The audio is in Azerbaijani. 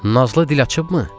Nazlı dil açıbmı?